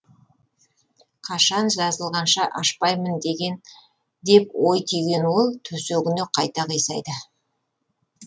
қашан жазылғанша ашпаймын деген деп ой түйген ол төсегіне қайта қисайды